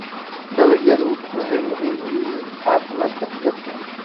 Dalagyadu waxay muhiim u yihiin caafimaadka dadka.